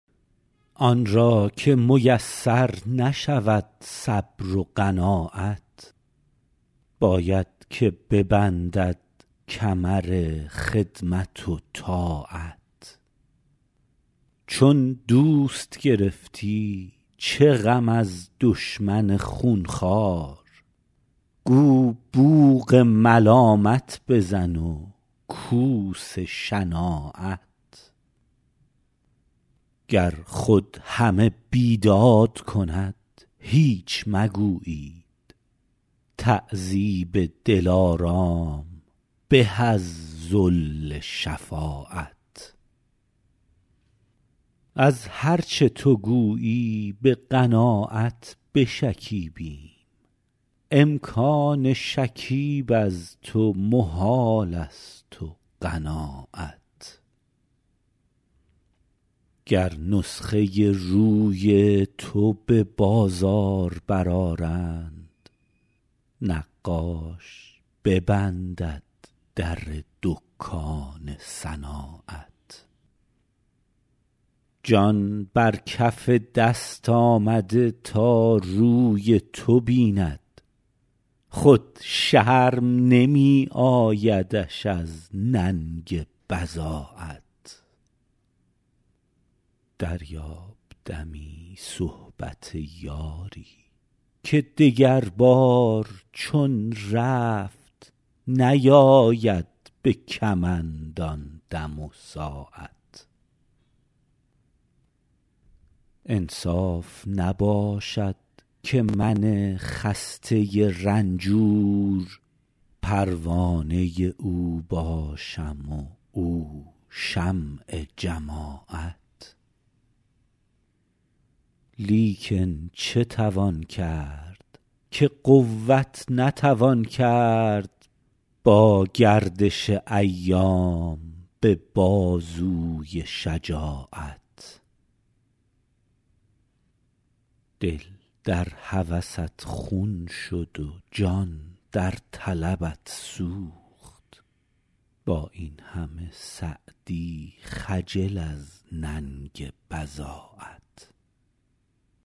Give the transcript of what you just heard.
آن را که میسر نشود صبر و قناعت باید که ببندد کمر خدمت و طاعت چون دوست گرفتی چه غم از دشمن خونخوار گو بوق ملامت بزن و کوس شناعت گر خود همه بیداد کند هیچ مگویید تعذیب دلارام به از ذل شفاعت از هر چه تو گویی به قناعت بشکیبم امکان شکیب از تو محالست و قناعت گر نسخه روی تو به بازار برآرند نقاش ببندد در دکان صناعت جان بر کف دست آمده تا روی تو بیند خود شرم نمی آیدش از ننگ بضاعت دریاب دمی صحبت یاری که دگربار چون رفت نیاید به کمند آن دم و ساعت انصاف نباشد که من خسته رنجور پروانه او باشم و او شمع جماعت لیکن چه توان کرد که قوت نتوان کرد با گردش ایام به بازوی شجاعت دل در هوست خون شد و جان در طلبت سوخت با این همه سعدی خجل از ننگ بضاعت